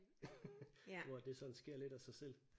Hvor at det sådan sker lidt af sig selv